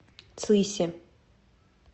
цыси